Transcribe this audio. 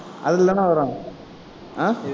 அதுலதானே வரும் ஆஹ்